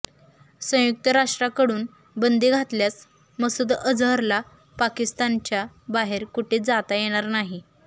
संयुक्त राष्ट्राकडून बंदी घातल्यास मसूद अजहरला पाकिस्तानच्या बाहेर कुठेही जाता येणार नाही